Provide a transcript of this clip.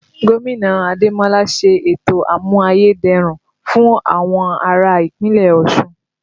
Gómìnà Ademola ń ṣe ètò àmù-ayé-dẹrùn fún àwọn ará Ìpínlẹ̀ Ọ̀ṣun